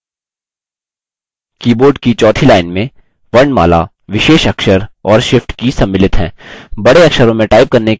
keyboard की चौथी line में वर्णमाला विशेष अक्षर और shift की सम्मिलित हैं